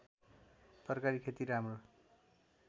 तरकारी खेती राम्रो